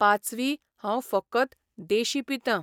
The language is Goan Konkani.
पांचवी हांव फकत देशी पितां.